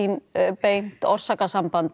beint orsakasamband